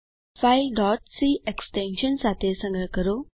file c extension સાથે સંગ્રહ કરો